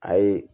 A ye